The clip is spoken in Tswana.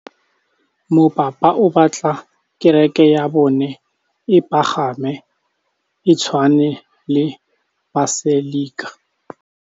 Mopapa o batla kereke ya bone e pagame, e tshwane le paselika.